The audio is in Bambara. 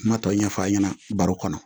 Kuma tɔw ɲɛfɔ a ɲɛna baro kɔnɔ